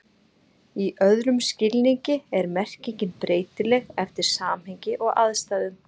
Í öðrum skilningi er merkingin breytileg eftir samhengi og aðstæðum.